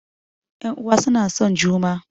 Ƴan uwa suna son juma